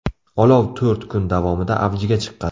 Olov to‘rt kun davomida avjiga chiqqan.